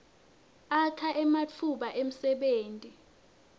akha ematfuba emsebenti